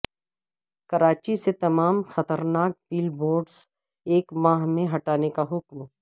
کراچی سے تمام خطرناک بل بورڈز ایک ماہ میں ہٹانے کا حکم